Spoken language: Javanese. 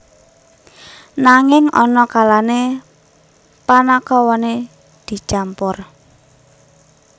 Nanging ana kalane panakawane dicampur